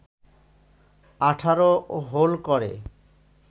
১৮ hole করে